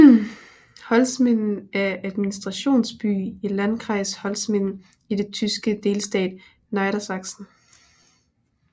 Holzminden er administrationsby i Landkreis Holzminden i den tyske delstat Niedersachsen